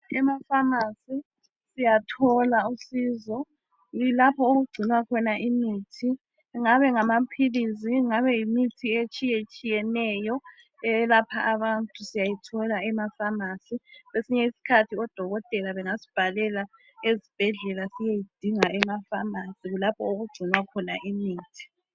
Ema "pharmacy " siyathola usizo kulapho okugcinwa khona imithi kungabe ngama philisi kungaba mithi etshiyetshiyeneyo eyelapha abantu siyayithola ema "pharmacy " kwesinye isikhathi odokotela bangasibhalela siyeyidinga ema" pharmacy " kulapho okugcinwa khona imithi .